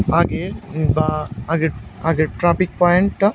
আগের বা আগের আগের ট্রা পয়েন্টটা।